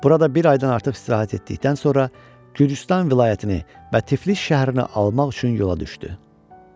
Burada bir aydan artıq istirahət etdikdən sonra Gürcüstan vilayətini və Tiflis şəhərini almaq üçün yola düşdü.